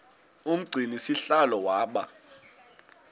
umgcini sihlalo waba